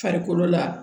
Farikolo la